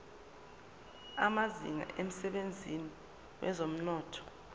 amazinga emsebenzini wezomnotho